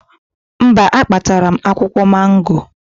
Mba, akpatara m akwụkwọ mango